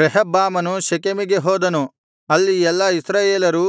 ರೆಹಬ್ಬಾಮನು ಶೆಕೆಮಿಗೆ ಹೋದನು ಅಲ್ಲಿ ಎಲ್ಲಾ ಇಸ್ರಾಯೇಲರೂ